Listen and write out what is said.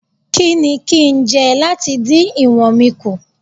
Kí ni kín ń jẹ láti dín ìwọ̀n mi kù?